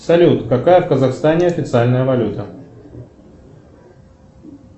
салют какая в казахстане официальная валюта